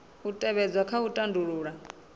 u tevhedzwa kha u tandulula